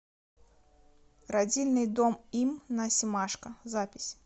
родильный дом им на семашко запись